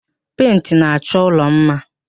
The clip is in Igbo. Pentị na-achọ ụlọ mma